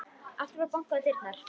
Aftur var bankað á dyrnar.